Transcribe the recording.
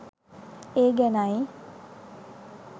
ඒ ගැනයි.